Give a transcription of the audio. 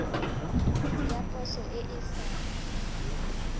ya poso e e sa